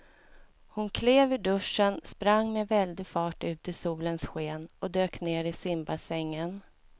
Hon klev ur duschen, sprang med väldig fart ut i solens sken och dök ner i simbassängen.